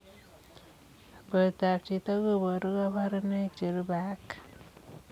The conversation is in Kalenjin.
Portoop chitoo kobaruu kabarunaik cherubei ak